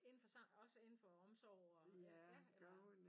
Indenfor også indenfor omsorg og ja eller